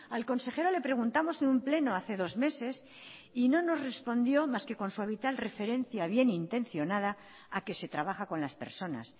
al consejero le preguntamos en un pleno hace dos meses y no nos respondió más que su habitual referencia bien intencionada a que se trabaja con las personas